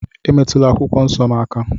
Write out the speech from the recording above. Emetụla akwụkwọ nsọ m aka!